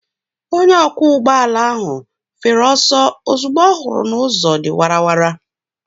Onye ọkwọ ụgbọala ahụ fere ọsọ ozugbo ọ hụrụ na ụzọ dị wara wara.